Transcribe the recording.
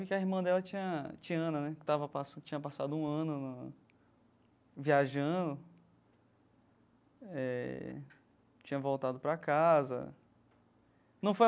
Porque a irmã dela tinha, Tiana né, tava passa tinha passado um ano no viajando eh, tinha voltado para casa, não foi.